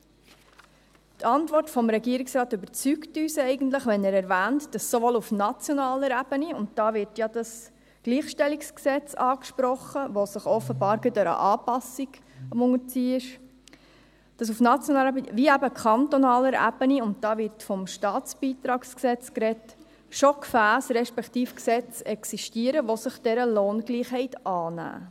Die Antwort des Regierungsrates überzeugt uns eigentlich, wenn er erwähnt, dass sowohl auf nationaler Ebene – und da wird ja das GlG angesprochen, welches einer Anpassung unterzogen wird – als auch auf kantonaler Ebene – und da wird vom StBG gesprochen – schon Gefässe respektive Gesetze existieren, welche sich dieser Lohngleichheit annehmen.